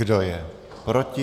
Kdo je proti?